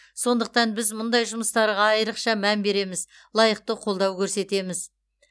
сондықтан біз мұндай жұмыстарға айрықша мән береміз лайықты қолдау көрсетеміз